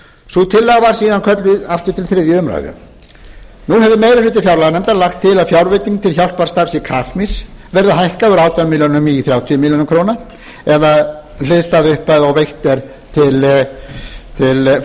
sú tillaga var síðan kölluð til þriðju umræðu nú hefur meiri hluti fjárlaganefndar lagt til að fjárveiting til hjálparstarfs í kasmír verði hækkuð úr átján milljónir í þrjátíu milljónir króna eða hliðstæð upphæð og veitt er til